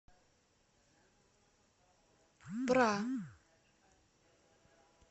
бра